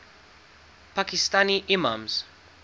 pakistani imams